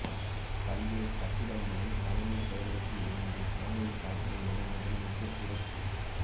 பல்வேறு கட்டிடங்களை தலைமைச் செயலகத்தில் இருந்து காணொலிக் காட்சி மூலம் முதலமைச்சர் திறப்பு